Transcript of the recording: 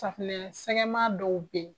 Safunɛ sɛgɛma dɔw bɛ yen